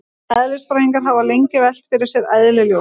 Eðlisfræðingar hafa lengi velt fyrir sér eðli ljóss.